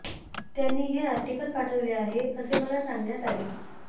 त्यांनी हे आर्टिकल पाठवले आहे असे मला सांगण्यात आले